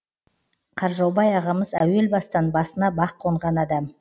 қаржаубай ағамыз әуел бастан басына бақ конған адам